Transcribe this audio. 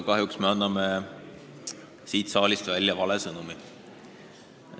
Kahjuks me anname siit saalist välja vale sõnumi.